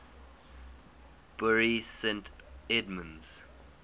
bury st edmunds